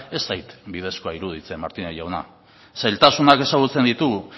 ez zait bidezkoa iruditzen martínez jauna zailtasunak ezagutzen ditugu